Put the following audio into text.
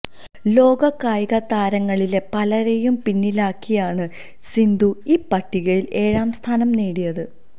ലോക കായികതാരങ്ങളിലെ പലരേയും പിന്നിലാക്കിയാണ് സിന്ധു ഈ പട്ടികയിൽ ഏഴാം സ്ഥാനം നേടിയത്